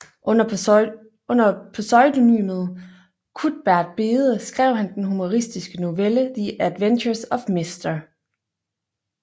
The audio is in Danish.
Under pseudonymet Cuthbert Bede skrev han den humoristiske novelle The adventures of Mr